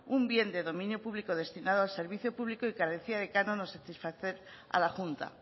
un bien de dominio público destinado al servicio público y carecía de canon a satisfacer a la junta